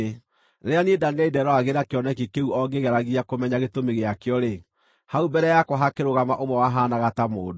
Rĩrĩa niĩ Danieli nderoragĩra kĩoneki kĩu o ngĩgeragia kũmenya gĩtũmi gĩakĩo-rĩ, hau mbere yakwa hakĩrũgama ũmwe wahaanaga ta mũndũ.